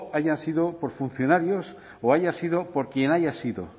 hayan sido por funcionarios o haya sido por quien haya sido